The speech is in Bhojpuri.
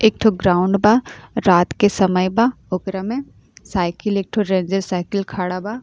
एक ठो ग्राउंड बा। रात के समय बा। ओकरा में साइकिल एक ठो रेंजर रेड साइकिल खड़ा बा।